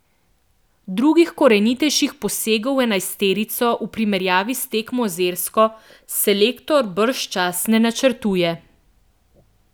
Drugih korenitejših posegov v enajsterico v primerjavi s tekmo z Irsko selektor bržčas ne načrtuje.